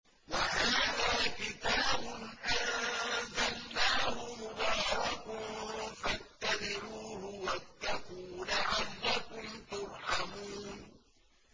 وَهَٰذَا كِتَابٌ أَنزَلْنَاهُ مُبَارَكٌ فَاتَّبِعُوهُ وَاتَّقُوا لَعَلَّكُمْ تُرْحَمُونَ